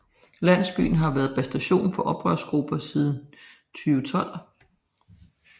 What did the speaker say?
Landsbyen havde været bastion for oprørsgrupper siden 2012